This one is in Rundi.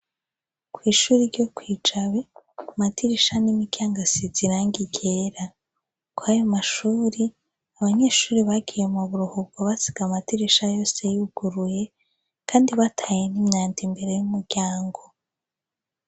Kw'ishuri ryo kwijabe amadirisha n'imiryango asize irangi ryera. Kw'ayomashure abanyeshure bagiye m'uburuhuko basiga amadirisha yose yuguruye kandi bataye n'umwanda imbere y'umuryango.